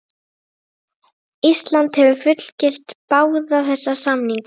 Ísland hefur fullgilt báða þessa samninga.